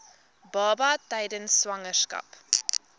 baba tydens swangerskap